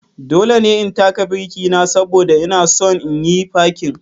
Dole ne in taka birki na saboda ina son yin fakin.